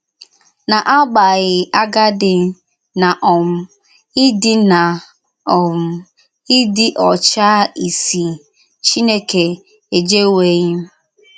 N’agbàghì àgádì na um ídí na um ídí ọ́chá ísì, Chínèkè, èjèwèghìm.